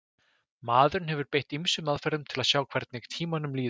Maðurinn hefur beitt ýmsum aðferðum til að sjá hvernig tímanum líður.